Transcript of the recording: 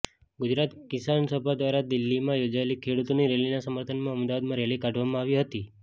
ગુજરાત કિસાનસભા દ્વારા દિલ્હીમાં યોજાયેલી ખેડૂતોની રેલીના સમર્થનમાં અમદાવાદમાં રેલી કાઢવામાં આવી હતી